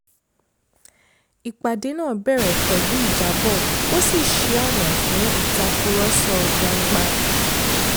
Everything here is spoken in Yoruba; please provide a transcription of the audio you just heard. ìpàdé náà bẹ̀rẹ̀ pẹ̀lú ìjábọ̀ ó sì ṣí ọ̀nà fún ìtàkurọ̀sọ gbangba